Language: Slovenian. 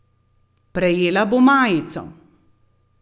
Prejela bo majico.